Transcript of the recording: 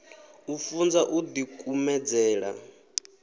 u funzwa u ḓi kumedzela